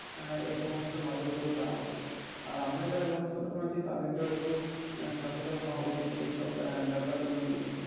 আহ সমস্ত গুলো নজর গুলো দেওয়া উচিত আর আমরা যারা জনসাধারন আছি তাদেরকে ও একটু সচেতন হওয়া উচিত এইসব আহ ব্যাপার গুলো নিয়ে